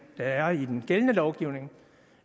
er i den gældende lovgivning